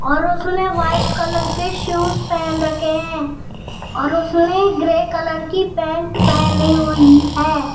और उसने white colour के शूज़ पेहन रखे हैं और उसने ग्रे कलर की पैंट पेहनी हुईं हैं।